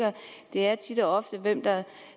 er tit og ofte hvem der